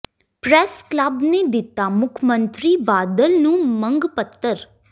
press club ਨੇ ਦਿੱਤਾ ਮੁੱਖ ਮੰਤਰੀ ਬਾਦਲ ਨੂੰ ਮੰਗ ਪੱਤਰ